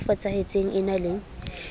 e fosahetseng e na le